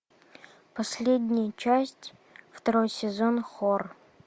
последняя часть второй сезон хор